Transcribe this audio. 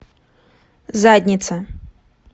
задница